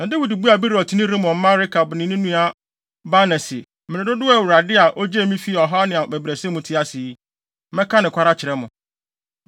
Na Dawid buaa Beerotni Rimon mma Rekab ne ne nua Baana se, “Mmere dodow a Awurade a ogyee me fii ɔhaw ne abɛbrɛsɛ mu te ase yi, mɛka nokware akyerɛ mo.